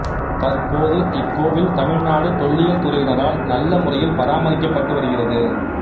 தற்போது இக்கோவில் தமிழ் நாடு தொல்லியல் துறையினரால் நல்ல முறையில் பராமரிக்கப்பட்டு வருகிறது